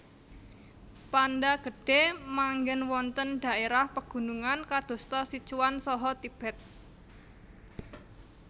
Panda Gedhe manggen wonten dhaérah pegunungan kadosta Sichuan saha Tibet